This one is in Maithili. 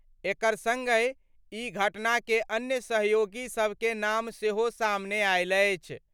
एकर संगहि ई घटना के अन्य सहयोगी सबकें नाम सेहो सामने आयल अछि।